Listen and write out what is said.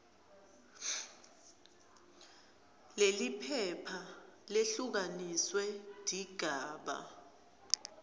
leliphepha lehlukaniswe tigaba